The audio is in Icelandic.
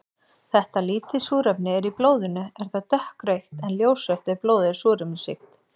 Þegar lítið súrefni er í blóðinu er það dökkrautt en ljósrautt ef blóðið er súrefnisríkt.